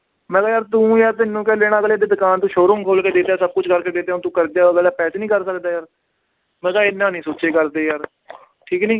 ਮੈਂ ਕਿਹਾ ਯਾਰ ਤੂੰ ਯਾਰ ਤੈਨੂੰ ਕਿਉਂ ਦੇਣਾ ਅਗਲੇ ਦੀ ਦੁਕਾਨ ਤੂੰ showroom ਖੋਲ ਕੇ ਦੇ ਦਿੱਤਾ ਸਭ ਕੁਛ ਕਰ ਕੇ ਦੇ ਦਿੱਤਾ ਹੁਣ ਤੂੰ ਪੈਸੇ ਨੀ ਕਰ ਸਕਦਾ ਯਾਰ, ਮੈਂ ਕਿਹਾ ਇੰਨਾ ਨੀ ਸੋਚਿਆ ਕਰਦੇ ਯਾਰ ਠੀਕ ਹੈ ਨੀ।